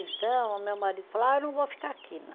Então, meu marido falou, ah, eu não vou ficar aqui, não.